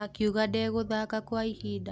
Akiuga ndeguthaka kwa ihinda.